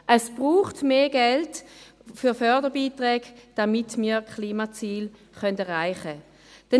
Es braucht mehr Geld für Fördergeld, damit wir die Klimaziele erreichen können.